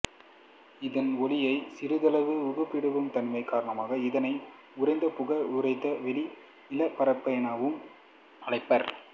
இதன் ஒளியை சிறிதளவு ஊடுபுகவிடும் தன்மை காரணமாக இதனை உறைந்த புகை உறைந்த வளி நீலப் புகை னவும் அழைப்பர்